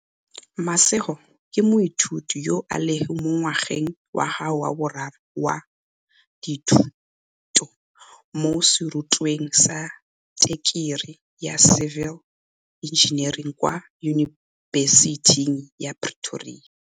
Mashego ke moithuti yo a leng mo ngwageng wa gagwe wa boraro wa dithu to mo serutweng sa tekerii ya civil engineering kwa Yunibesiting ya Pretoria.